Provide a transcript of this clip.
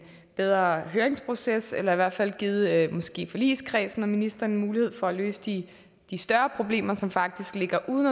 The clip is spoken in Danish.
bedre høringsproces eller i hvert fald givet måske forligskredsen og ministeren en mulighed for at løse de større problemer som faktisk ligger uden